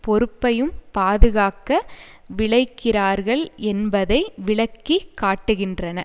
பொறுப்பையும் பாதுகாக்க விழைகிறார்கள் என்பதை விளக்கி காட்டுகின்றன